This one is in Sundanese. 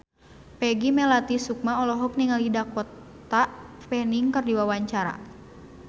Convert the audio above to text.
Peggy Melati Sukma olohok ningali Dakota Fanning keur diwawancara